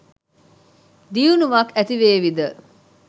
දියුණුවක් ඇතිවේවි ද?